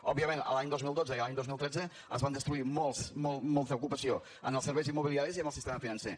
òbviament l’any dos mil dotze i l’any dos mil tretze es va destruir molta molta ocupació en els serveis immobiliaris i en el sistema financer